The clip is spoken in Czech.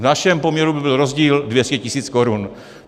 V našem poměru by byl rozdíl 200 tis. korun.